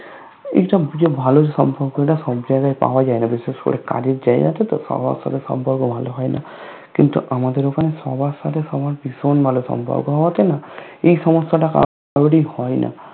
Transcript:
এইসব এইযে ভালো সম্পর্ক তা সবজায়গায় পাওয়া যায়না বিশেষ করে কাজের জায়গাতে তো সবার সাথে সম্পর্ক ভালো হয়না কিন্তু আমাদের ওখানে সবার সাথে সবার ভীষণ ভালো সম্পর্ক হওয়াতে না এই সমস্যাটা কারোরই হয়না